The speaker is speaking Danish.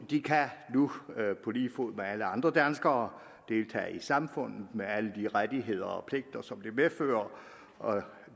de kan nu på lige fod med alle andre danskere deltage i samfundet med alle de rettigheder og pligter som det medfører og